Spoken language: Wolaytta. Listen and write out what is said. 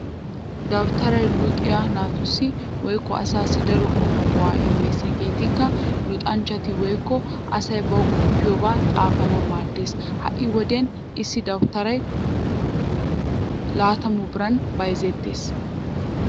Dawutaray luxiyaa naatussi woykko asaassi daro qommo go'aa immees hegeetikka:-luxanchchati woykko asay bawu qoppiyoobaa xaafanawu maaddees. Ha'i wodiyan issi dawutaray 120biran bayzettees.